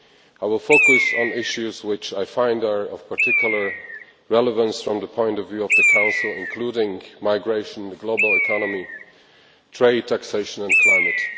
I will focus on issues which I find are of particular relevance from the point of view of the Council, including migration, the global economy, trade, taxation and climate.